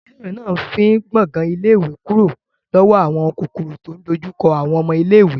Ilé ìwé náà fín gbàngan ilé ìwé kúrò lọ́wọ́ àwọn kòkòrò tí ò ń dojú kọ àwọn ọmọ iléèwé